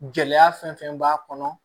Gɛlɛya fɛn fɛn b'a kɔnɔ